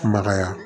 Maka